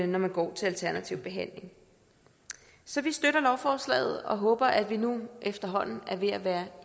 når man går til alternativ behandling så vi støtter lovforslaget og håber at vi nu efterhånden er ved at være